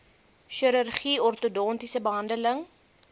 chirurgie ortodontiese behandeling